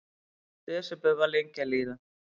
Desember var lengi að líða.